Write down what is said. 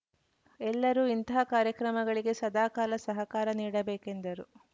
ಎಲ್ಲರೂ ಇಂತಹ ಕಾರ್ಯಕ್ರಮಗಳಿಗೆ ಸದಾಕಾಲ ಸಹಕಾರ ನೀಡಬೇಕೆಂದರು